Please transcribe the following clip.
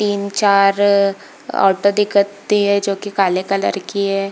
तीन चार ऑटो दिखत रही है जो की काले कलर की है।